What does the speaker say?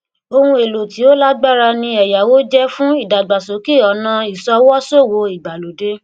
ohun èèlò tí ó lágbára ni ẹyáwó jẹ fún ìdàgbàsókè ọnà ìṣọwọ ṣòwò ìgbàlódé